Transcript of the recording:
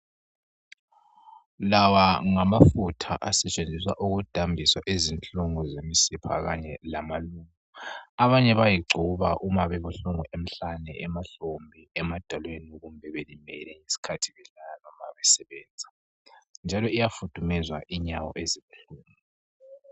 Lawa ngamafutha usetshenziswa ukudambisa izinhlungu zemzimba kanye lamaluba abanye bayayingcobo nxa kubuhlungu emhlane emahlombe emadolweni kumbe be nxa belala njalo iyafudumeza inyawo ezibuhlungu